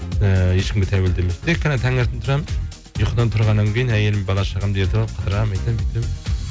ііі ешкімге тәуелді емеспін тек қана таңертең тұрамын ұйқыдан тұрғаннан кейін әйелім бала шағамды ертіп алып қыдырамын өйтемін бүйтемін